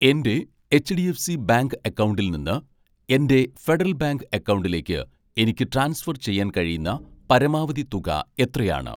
എൻ്റെ HDFC bank അക്കൗണ്ടിൽ നിന്ന് എൻ്റെ ഫെഡറൽ ബാങ്ക് അക്കൗണ്ടിലേക്ക് എനിക്ക് ട്രാൻസ്ഫർ ചെയ്യാൻ കഴിയുന്ന പരമാവധി തുക എത്രയാണ്